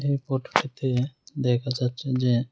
এই ফটোটিতে দেখা যাচ্ছে যে--